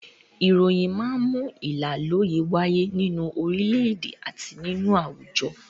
Ìròyìn máa ń mú ìlàlọ́yẹ́ wáyé nínú orílẹ̀-èdè àti nínú àwùjọ.